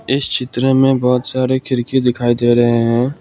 इस चित्र में बहुत सारे खिड़की दिखाई दे रहे हैं।